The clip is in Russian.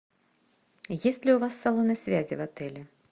есть ли у вас салоны связи в отеле